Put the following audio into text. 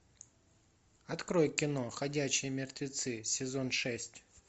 открой кино ходячие мертвецы сезон шесть